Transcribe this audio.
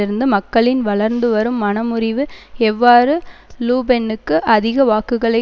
இருந்து மக்களின் வளர்ந்துவரும் மனமுறிவு எவ்வாறு லூபென்னுக்கு அதிக வாக்குகளை